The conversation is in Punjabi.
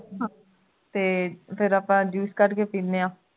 ਤੇ ਆਪਾਂ juice ਕੱਢ ਕੇ ਪੀਨੇ ਆਂ